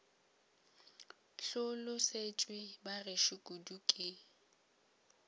hlolosetšwe ba gešo kudu ke